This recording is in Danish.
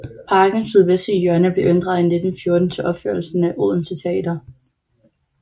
Parkens sydvestlige hjørne blev inddraget i 1914 til opførelsen af Odense Teater